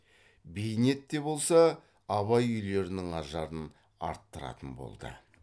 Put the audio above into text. бейнет те болса абай үйлерінің ажарын арттыратын болды